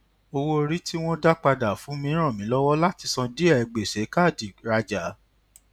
owó orí tí wón dá padà fún mi ràn mi lọwọ láti san díè gbèsè káàdì rajà